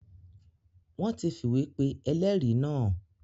Wọ́n ti fìwé pe ẹlẹ́rìí náà.